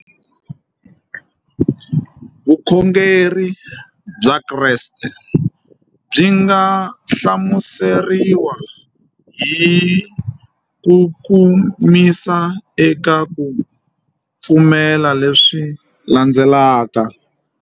Vukhongeri bya Kreste byi nga hlamuseriwa hi kukomisa eka ku pfumela leswi landzelaka.